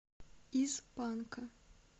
из панка